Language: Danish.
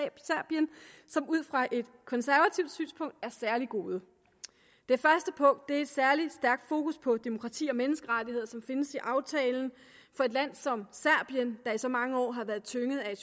fra et konservativt synspunkt er særlig gode det første punkt er det særlig stærke fokus på demokrati og menneskerettigheder som findes i aftalen for et land som serbien der i så mange år har været tynget af